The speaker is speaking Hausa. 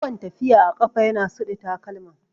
Yawan tafiya a ƙafa ya na suɗe takalma